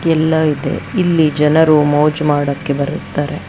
ಎಲ್ಲ ಇದೆ ಇಲ್ಲಿ ಜನರು ಮೋಜು ಮಾಡಕ್ಕೆ ಬರುತ್ತಾರೆ.